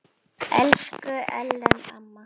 Elsku Ellen amma.